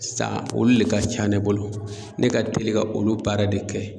San olu de ka ca ne bolo, ne ka teli ka olu baara de kɛ.